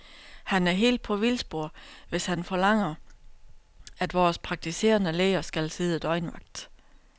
Han er helt på vildspor, hvis han forlanger, at vores praktiserende læger skal sidde døgnvagt.